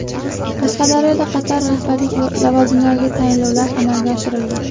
Qashqadaryoda qator rahbarlik lavozimlariga tayinlovlar amalga oshirildi.